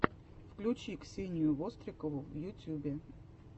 включи ксению вострикову в ютюбе